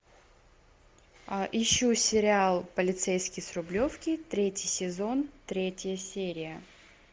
ищу сериал полицейский с рублевки третий сезон третья серия